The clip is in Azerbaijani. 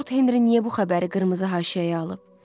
Lord Henri niyə bu xəbəri qırmızı haşiyəyə alıb?